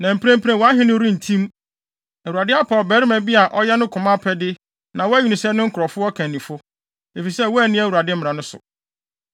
Na mprempren, wʼahenni no rentim. Awurade apɛ ɔbarima bi a ɔyɛ ne koma apɛde na wayi no sɛ ne nkurɔfo ɔkannifo, efisɛ woanni Awurade mmara no so.”